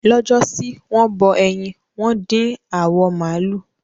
Lọ́jọ́ sí, wọ́n bọ ẹyin, wọ́n dín awọ màlúù.